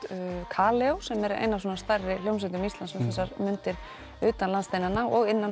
Kaleo sem er ein af stærri hljómsveitum Íslands utan landsteinana og innan